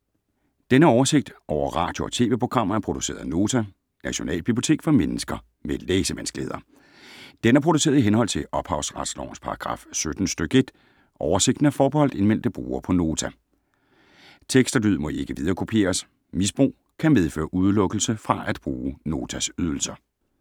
Denne oversigt over radio og TV-programmer er produceret af Nota, Nationalbibliotek for mennesker med læsevanskeligheder. Den er produceret i henhold til ophavsretslovens paragraf 17 stk. 1. Oversigten er forbeholdt indmeldte brugere på Nota. Tekst og lyd må ikke viderekopieres. Misbrug kan medføre udelukkelse fra at bruge Notas ydelser.